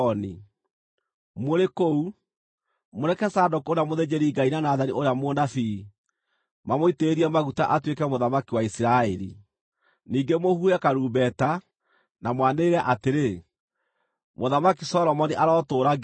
Mũrĩ kũu, mũreke Zadoku ũrĩa mũthĩnjĩri-Ngai na Nathani ũrĩa mũnabii mamũitĩrĩrie maguta atuĩke mũthamaki wa Isiraeli. Ningĩ mũhuhe karumbeta, na mwanĩrĩre atĩrĩ, ‘Mũthamaki Solomoni arotũũra nginya tene!’